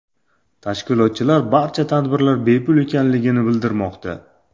Tashkilotchilar barcha tadbirlar bepul ekanligini bildirmoqda.